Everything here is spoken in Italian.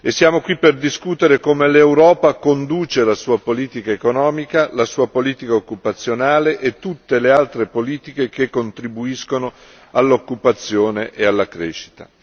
Siamo qui per discutere come l'Europa conduce la sua politica economica, la sua politica occupazionale e tutte le altre politiche che contribuiscono all'occupazione e alla crescita.